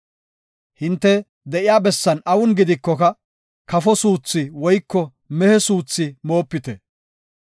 Hinte de7iya bessan awun gidikoka, kafo suuthi woyko mehe suuthi moopite.